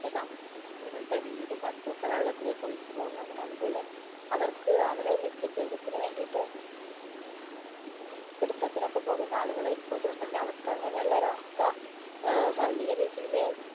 താമസിക്കുന്ന ആളുകളുടെ വീടും മറ്റും ഒക്കെ വെള്ളത്തിലേക് ഒലിച്ച് പോകാനും അതുപോലെ അവർക്ക് അവരെ നിത്യജീവിതത്തിനു വേണ്ടിയിട്ട് ഏർ മീൻ പിടുത്തതിന് ഒക്കെ പോകുന്ന ആളുകളായിരിക്കും അതോണ്ടന്നെ അവർക്ക് അങ്ങനെ ഉള്ളൊരു അവസ്ഥ ഏർ വലിയ രീതിയില്